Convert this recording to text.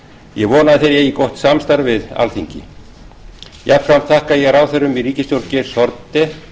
ég vona að þeir eigi gott samstarf við alþingi jafnframt þakka ég ráðherrum í ríkisstjórn geirs haarde